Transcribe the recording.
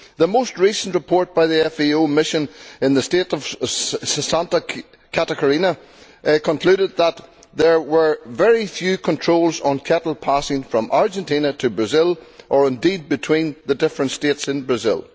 The most recent report by the FAO mission in the state of Santa Catarina concluded that there were very few controls on cattle passing from Argentina to Brazil, or indeed between the different states in Brazil.